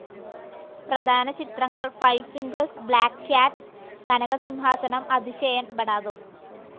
പ്രധാന ചിത്രങ്ങൾ five fingers, black cat, Kanakasimhasanam, Athisayan, Bada ദോസ്ത്.